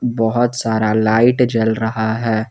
बहुत सारा लाइट जल रहा है।